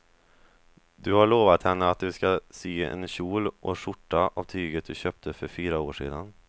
Du har lovat henne att du ska sy en kjol och skjorta av tyget du köpte för fyra år sedan.